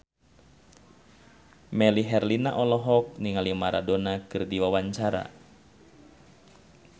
Melly Herlina olohok ningali Maradona keur diwawancara